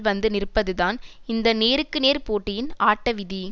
வந்து நிற்பதுதான் இந்த நேருக்கு நேர் போட்டியின் ஆட்ட விதி